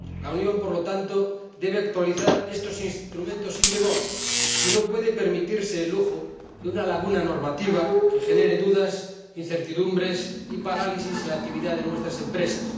La Unión, por lo tanto, debe actualizar estos instrumentos sin demora y no puede permitirse el lujo de una laguna normativa que genere dudas, incertidumbres y parálisis en la actividad de nuestras empresas.